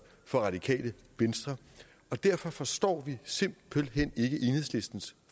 for radikale venstre og derfor forstår vi simpelt hen ikke enhedslistens